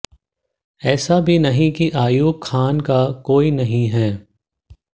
ऐसा भी नहीं कि अयूब खान का कोई नहीं है